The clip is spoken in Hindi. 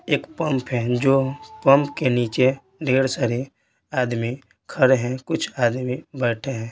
एक पंप है जो पंप के नीचे ढेर सारे आदमी खड़े हैं कुछ आदमी बैठे हैं।